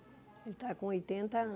Ele está com oitenta